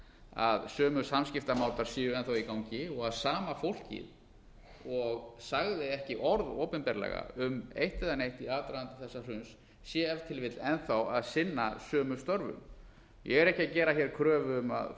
að sömu samskiptamátar séu enn í gangi og að sama fólkið og sagði ekki orð opinberlega um eitt eða neitt í aðdraganda þessa hruns sé ef til vill enn að sinna sömu störfum ég er ekki að gera hér kröfu um að